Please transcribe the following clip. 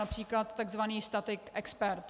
Například tzv. statik expert.